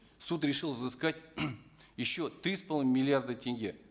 суд решил взыскать еще три с половиной миллиарда тенге